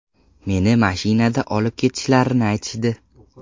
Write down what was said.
Meni mashinada olib ketishlarini aytishdi.